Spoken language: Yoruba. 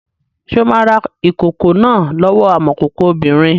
Ṣé o máa ra ìkòkò náà lọ́wọ́ amọ̀kòkò obìnrin?